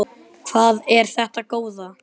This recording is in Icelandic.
Hvað er þetta góða!